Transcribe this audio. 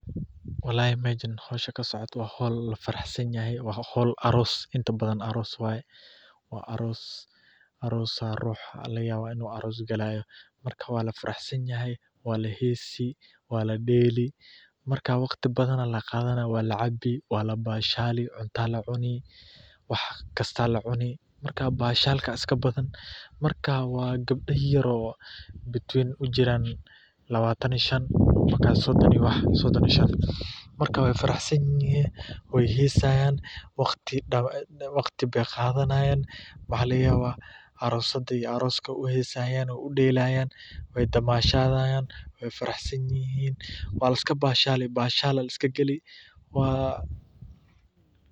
Wallahi meshan hoosha kasocotah wa hool lo faraxsanahay, wa hool aroos intabdan aroos waye ruux Aya lagayabah inu arooskalahayo marka Wala faraxsanahay Wala heesi Wala deeli marka waqdi bathan Aya laqathana Wala cabi Wala bashale cunta Aya la cuni marka bahalka iska bathan wa kabda yaryar oo between u jiran Labatan iyo shan ila sodon iyo shan , marka wa faraxsanahay wa heesayan waqdi ba qathanayan aroosyada iyo aroos u delayan wa damashathayan wa faraxsanyahin Bashal Aya liskagali.